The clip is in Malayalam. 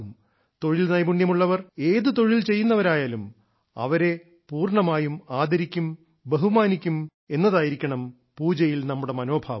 തൊഴിൽ നൈപുണ്യമുള്ളവർ ഏതു തൊഴിൽ ചെയ്യുന്നവരായാലും അവരെ പൂർണമായും ആദരിക്കും ബഹുമാനിക്കും എന്നതായിരിക്കണം പൂജയിൽ നമ്മുടെ മനോഭാവം